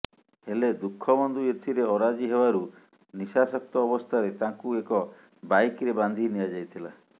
ହେଲେ ଦୁଃଖବନ୍ଧୁ ଏଥିରେ ଅରାଜି ହେବାରୁ ନିଶାସକ୍ତ ଅବସ୍ଥାରେ ତାଙ୍କୁ ଏକ ବାଇକ୍ରେ ବାନ୍ଧି ନିଆଯାଇଥିଲା